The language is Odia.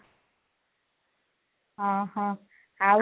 ହଁ, ହଁ ଆଉ